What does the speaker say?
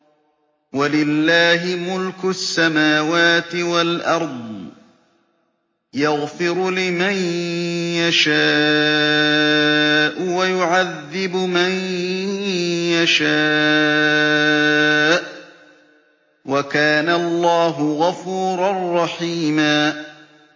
وَلِلَّهِ مُلْكُ السَّمَاوَاتِ وَالْأَرْضِ ۚ يَغْفِرُ لِمَن يَشَاءُ وَيُعَذِّبُ مَن يَشَاءُ ۚ وَكَانَ اللَّهُ غَفُورًا رَّحِيمًا